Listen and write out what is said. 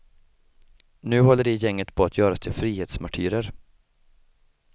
Nu håller det gänget på att göras till frihetsmartyrer.